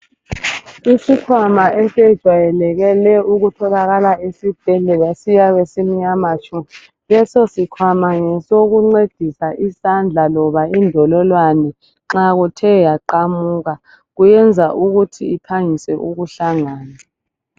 Isikhwama esejwayelekele ukutholakala esibhedlela esiyabe simnyama tshu. Lesosikhwama ngesokuncedisa isandla loba indolowane nxa kuthe yaqamuka. Kuyenza ukuth iphangise ukuhlangana kahle.